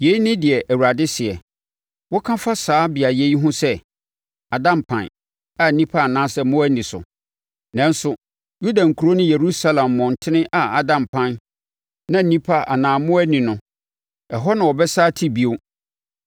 “Yei ne deɛ Awurade seɛ: ‘Woka fa saa beaeɛ yi ho sɛ, “Ada mpan, a nnipa anaasɛ mmoa nni so.” Nanso, Yuda nkuro ne Yerusalem mmɔntene a ada mpan na nnipa anaa mmoa nni no, ɛhɔ na wɔbɛsane ate bio